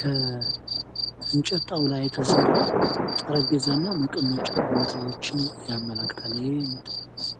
ከእንጨት ጣውላ የተሰራ ጠረጴዛ እና መቀመጫ ቦታዎችን ያመላክታል። ይሄ